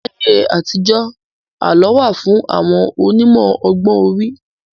Láyé àtijọ́, àlọ́ wà fún àwọn onímọ̀ ọgbọ́n orí.